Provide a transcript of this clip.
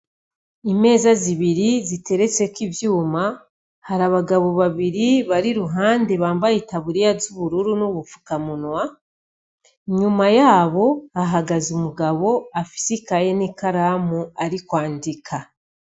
Imeza zibiri ziteretseko ivyuma , hari abagabo babiri bari iruhande bambaye itaburiya z'ubururu n'ubupfukamunwa ,inyuma yabo hahagaze umugabo afise ikaye n'ikaramu ari kwandika.